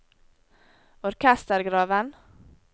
orkestergraven